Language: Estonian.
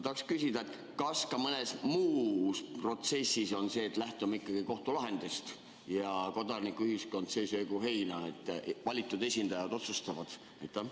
Kas ka mõnes muus protsessis on nii, et lähtume ikkagi kohtulahendist ja kodanikuühiskond söögu heina, valitud esindajad otsustavad?